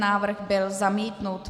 Návrh byl zamítnut.